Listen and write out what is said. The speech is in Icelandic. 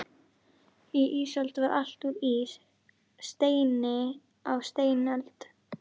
Á ísöld var allt úr ís, steini á steinöld.